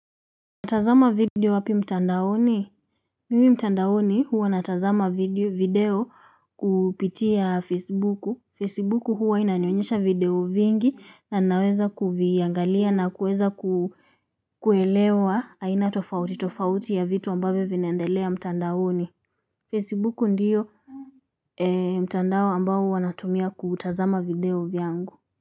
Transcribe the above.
Tazama video wapi mtandaoni? Mimi mtandaoni huwa natazama video kupitia facebooku. Facebooku huwa inanionyesha video vingi na naweza kuviangalia na kuweza kuelewa. Aina tofauti tofauti ya vitu ambavyo vinaendelea mtandaoni. Facebooku ndio mtandao ambao huwa natumia kutazama video vyangu.